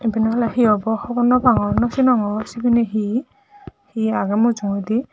iben ole hee obo hobor no pangor no sinongor sibeni hee hee agey mujungendi.